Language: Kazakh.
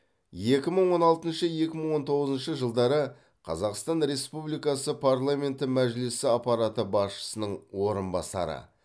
екі мың он алтыншы екі мың он тоғызыншы жылдары қазақстан республикасы парламенті мәжілісі аппараты басшысының орынбасары